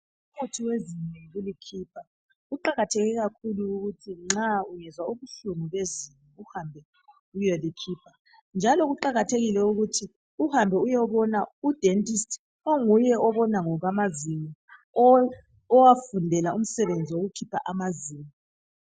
Umuthi wezinyo yikulikhipha kuqakathekile ukuthi nxa ungezwa ubuhlungu bezinyo uhambe uyelikhipha njalo kuqakathekile ukuthi uhambe uyobona udentist onguyeobona ngokwamazinyo owafundela umsebenzi wokukhipha amazinyo